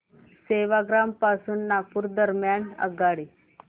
सेवाग्राम पासून नागपूर दरम्यान आगगाडी